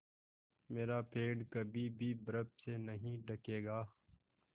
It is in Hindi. मेरा पेड़ कभी भी बर्फ़ से नहीं ढकेगा